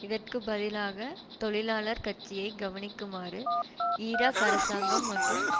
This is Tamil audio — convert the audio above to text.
இதற்கு பதிலாக தொழிலாளர் கட்சியை கவனிக்குமாறு ஈராக் அரசாங்கம் மற்றும்